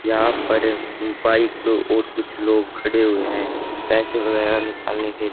यहां पर बाइक और कुछ लोग खड़े हुए हैं पैसे वगैरह निकालने के--